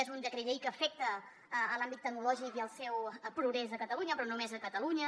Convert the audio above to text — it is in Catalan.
és un decret llei que afecta l’àmbit tecnològic i el seu progrés a catalunya però no només a catalunya